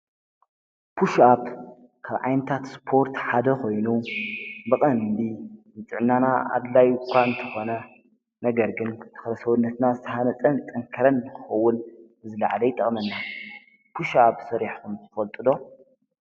ፑሽኣብ ካብ ዓይነታት ሰፖርት ሓደ ኮይኑ ብቀሊሉ ጥዕናና አድላይ እኳ እንትኾን ነገሩ ግን ካብ ሰዉነትና ዝተሃነፀነ ዝጠንከረ ንክከዉን ዝለዓለ ይጠቅመና፡፡ ፑሽ ኣብ ሰርሕኩም ትፈልጡ ዶ?